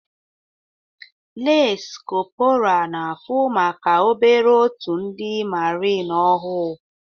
Lans korpora na fu maka obere otu ndi marini ohu